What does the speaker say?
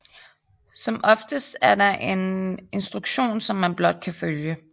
Som oftest er der en instruktion som man blot kan følge